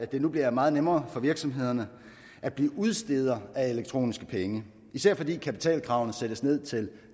det nu bliver meget nemmere for virksomhederne at blive udstedere af elektroniske penge især fordi kapitalkravene sættes ned til